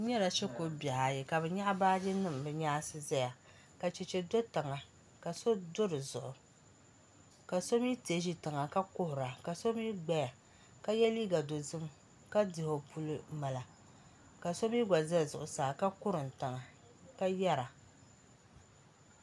N nyɛla shikuru bihi ayi ka bi nyaɣa baaji nim bi nyaansi ʒɛya ka chɛchɛ do tiŋa ka so do dizuɣu ka so mii tee ʒi tiŋa ka kuhura ka so mii gbaya ka yɛ liiga dozim ka dihi o puli n mala ka so mii gba ʒɛ zuɣusaa ka kurim tiŋa ka yɛra